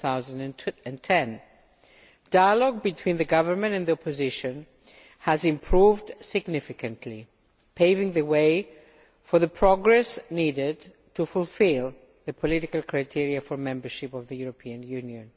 2010. Dialogue between the Government and the Opposition has improved significantly, paving the way for the progress needed to fulfil the political criteria for membership of the European Union.